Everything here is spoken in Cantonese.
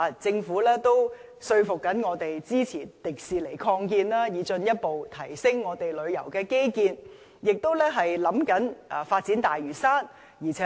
政府正說服我們支持擴建迪士尼樂園，以進一步提升我們的旅遊基建，亦研究發展大嶼山。